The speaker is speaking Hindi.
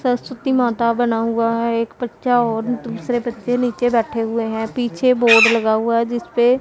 सरस्वती माता बना हुआ है एक बच्चा और दूसरे बच्चे नीचे बैठे हुए हैं पीछे बोर्ड लगा हुआ है जिसपे--